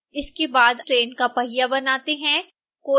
इसके बाद आइए ट्रेन का पहिया बनाते हैं